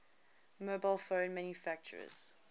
mobile phone manufacturers